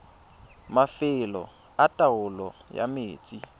mafelo a taolo ya metsi